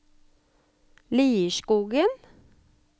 Lierskogen